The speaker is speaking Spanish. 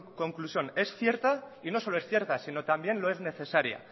conclusión es cierta y no solo es cierta sino también lo es necesaria